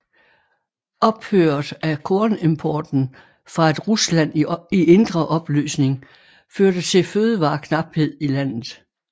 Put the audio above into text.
Ophøret af kornimporten fra et Rusland i indre opløsning førte til fødevareknaphed i landet